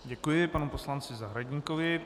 Děkuji panu poslanci Zahradníkovi.